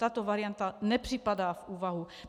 Tato varianta nepřipadá v úvahu.